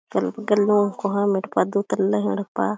कोहा येड्पा दुई तल्ला ही येड्पा--